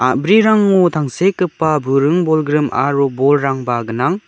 a·brirango tangsekgipa buring bolgrim aro bolrangba gnang.